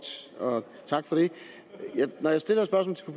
tak for det når jeg stiller